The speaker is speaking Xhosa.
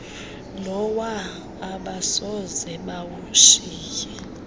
lowa abasoze bawushiye